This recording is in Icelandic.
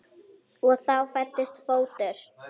Og þá fæddist fótur.